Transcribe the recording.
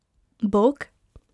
Bog?